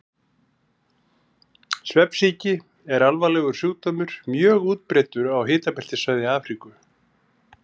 Svefnsýki er alvarlegur sjúkdómur, mjög útbreiddur á hitabeltissvæði Afríku.